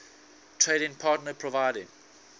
trading partner providing